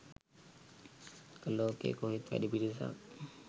ලෝකෙ කොහෙත් වැඩි පිරිසක්